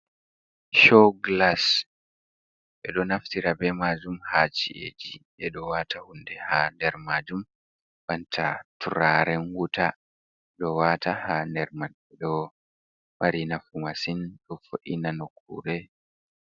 Show gilas ɓeɗo naftira bei majum ha ci’eji ɓeɗo wata hunde ha nder majum, banta turaren wuta ɗo wata ha nder, ɗo mari nafu masin ɗofo’ina nokkure.